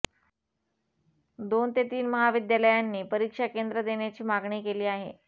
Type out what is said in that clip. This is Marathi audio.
दोन ते तीन महाविद्यालयांनी परीक्षा केंद्र देण्याची मागणी केली आहे